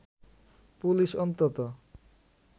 police অন্তত